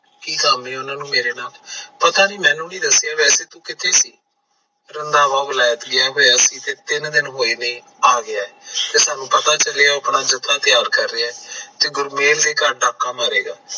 ਕਿ ਕੰਮ ਆ ਉਹਨਾਂ ਨੂੰ ਮੇਰੇ ਨਾਲ, ਪਤਾ ਨਹੀਂ ਮੈਨੂੰ ਨਹੀਂ ਦੱਸਿਆ ਵੈਸੈ ਤੂੰ ਕਿੱਥੇ ਸੀ? ਰੰਧਾਵਾ valet ਗਿਆ ਹੋਇਆ ਸੀ ਤੇ ਤਿੰਨ ਦਿਨ ਹੋਏ ਨੇ ਆ ਗਿਆ ਆਤੇ ਸਾਨੂ ਪਤਾ ਚਲਿਆ ਆ ਉਹ ਆਪਣਾ ਜੱਥਾ ਤਿਆਰ ਕਰ ਰਿਹਾ ਹੈ ਤੇ ਗੁਰਮੇਲ ਦੇ ਘਰ ਡਾਕਾ ਮਾਰੇਗਾ।